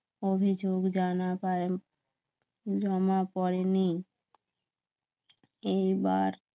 অভিযোগ জানা পায় না জমা পড়েনি এইবার